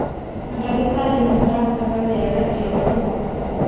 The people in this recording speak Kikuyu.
Mandagĩtarĩ nĩmarutaga wĩra na kĩo mũno.